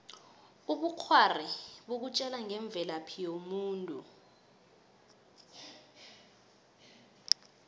ubukghwari bukutjela ngemvelaphi yomuntu